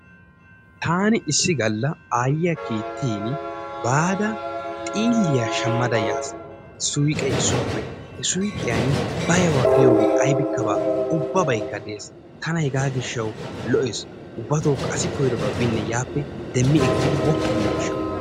Taani issi galla aayiya kiittini baada xiiliya shammada yaasi suyqee issuwappe he suyqqiyani baawa giyoobi aybikka baawa ubbabaykka de'ees. Tana hegaa gishshawu lo'ees. Ubbatookka asi koyidobaa binne yaappe demmi ekkidi woppu giyo gishawu.